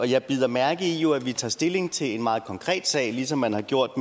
jeg bider mærke i at vi tager stilling til en meget konkret sag ligesom man har gjort